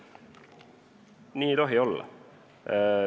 Nii ei tohi olla.